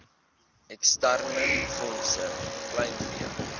eksterne fondse kleinvee